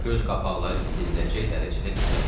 Göz qapaqları hiss ediləcək dərəcədə titrədi.